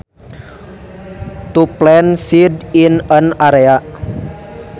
To plant seeds in an area